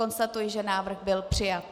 Konstatuji, že návrh byl přijat.